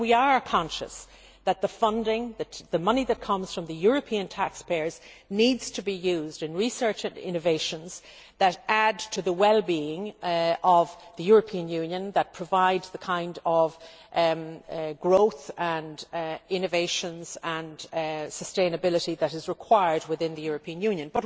We are conscious that the funding the money that comes from the European taxpayers needs to be used in research and innovations that add to the well being of the European Union, that provide the kind of growth and innovations and sustainability that is required within the European Union.